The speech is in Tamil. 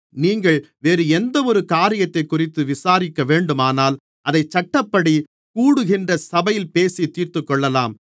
நீங்கள் வேறு எந்தவொரு காரியத்தைக்குறித்து விசாரிக்கவேண்டுமானால் அதை சட்டப்படிக் கூடுகின்ற சபையில் பேசித் தீர்த்துக்கொள்ளலாம்